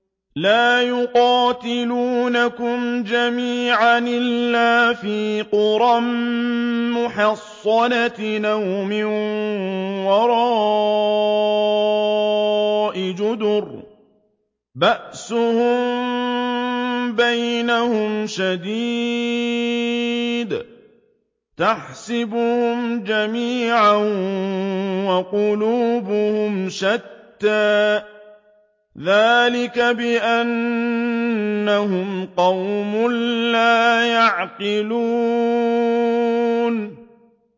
لَا يُقَاتِلُونَكُمْ جَمِيعًا إِلَّا فِي قُرًى مُّحَصَّنَةٍ أَوْ مِن وَرَاءِ جُدُرٍ ۚ بَأْسُهُم بَيْنَهُمْ شَدِيدٌ ۚ تَحْسَبُهُمْ جَمِيعًا وَقُلُوبُهُمْ شَتَّىٰ ۚ ذَٰلِكَ بِأَنَّهُمْ قَوْمٌ لَّا يَعْقِلُونَ